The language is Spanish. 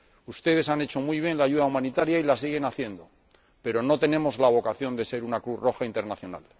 Ustedes han prestado muy bien la ayuda humanitaria y la siguen prestando, pero no tenemos la vocación de ser una Cruz Roja Internacional.